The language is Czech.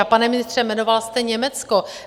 A pane ministře, jmenoval jste Německo.